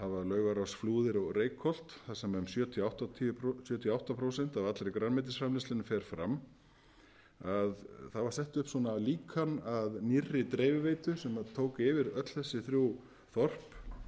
sem hafa laugarás flúðir og reykholt þar sem um sjötíu og átta prósent af allri grænmetisframleiðslunni fer fram þá er þetta líkan að nýrri dreifiveitu sem tók yfir öll þessi þrjú þorp